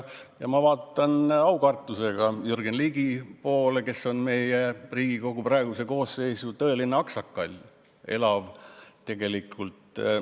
Ja ma vaatan aukartusega Jürgen Ligi poole, kes on meie Riigikogu praeguse koosseisu tõeline aksakall.